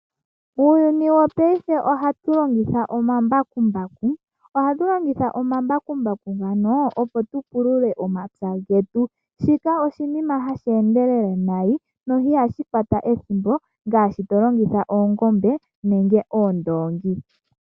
Muuyuni wopaife ohatu longitha omambakumbaku. Ohatu longitha omambakumbaku ngano opo tupulule omapya getu. Shika oshinima hashi endelel nayi sho ihashi kwata ethimbo ngaashi tolongitha oongombe nenge oondoongi.